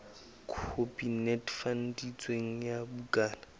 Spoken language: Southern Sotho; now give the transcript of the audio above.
khopi e netefaditsweng ya bukana